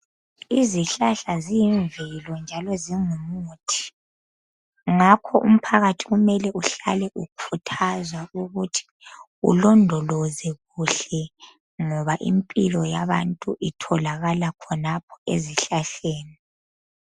Izihlahla ziyimvelo njalo zingumuthi ngakho umphakathi kumele uhlale ukhuthazwa ukuthi kulondolozwe kuhle ngoba impilo yabantu itholakala khonapho ezihlahleni.